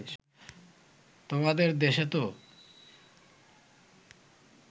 তোমাদের দেশেতো